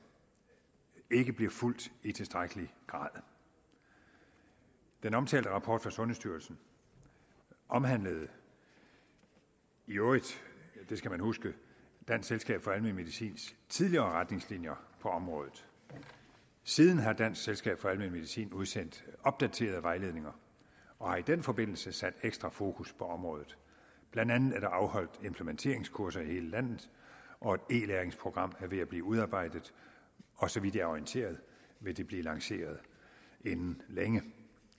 ikke bliver fulgt i tilstrækkelig grad den omtalte rapport fra sundhedsstyrelsen omhandlede i øvrigt det skal man huske dansk selskab for almen medicins tidligere retningslinjer på området siden har dansk selskab for almen medicin udsendt opdaterede vejledninger og har i den forbindelse sat ekstra fokus på området blandt andet er der afholdt implementeringskurser i hele landet og et e læringsprogram er ved at blive udarbejdet og så vidt jeg er orienteret vil det blive lanceret inden længe